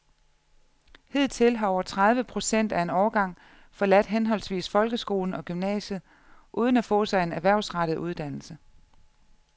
Hidtil har over tredive procent af en årgang forladt henholdsvis folkeskolen og gymnasiet uden at få sig en erhvervsrettet uddannelse.